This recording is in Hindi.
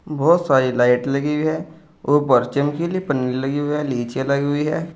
बहोत सारी लाइट लगी है ऊपर चमकीली पन्नी लगी हुई है नीचे लगी हुई है।